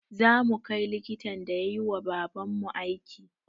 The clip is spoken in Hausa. Zamu kai likitan da yayiwa baban mu aiki